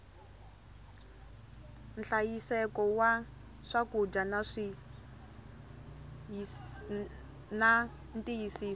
nhlayiseko wa swakudya na ntiyisiso